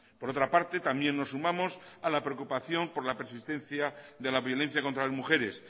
por otra parte también nos sumamos a la preocupación por la persistencia de la violencia contra las mujeres